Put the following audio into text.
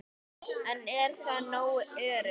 En er það nógu öruggt?